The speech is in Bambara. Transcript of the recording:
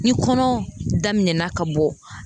Ni kɔnɔ daminɛna ka bɔ